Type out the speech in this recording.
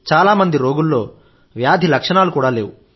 చాలా మంది రోగుల్లో వ్యాధి లక్షణాలు కూడా లేవు